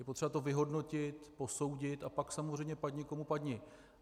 Je potřeba to vyhodnotit, posoudit, a pak samozřejmě padni komu padni.